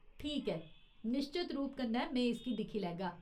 ठीक ऐ, निश्चत रूप कन्नै, में इसगी दिक्खी लैगा।